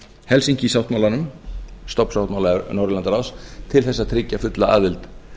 helsinki sáttmálanum stofnsáttmála norðurlandaráðs til þess að tryggja fulla aðild